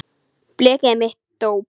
Blekið er mitt dóp.